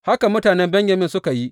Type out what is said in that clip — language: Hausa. Haka mutanen Benyamin suka yi.